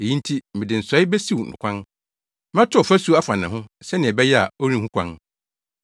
Eyi nti, mede nsɔe besiw no kwan; mɛto ɔfasu afa ne ho, sɛnea ɛbɛyɛ a ɔrenhu kwan.